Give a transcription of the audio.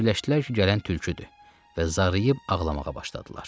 Elə fikirləşdilər ki, gələn tülküdür və zarıyıb ağlamağa başladılar.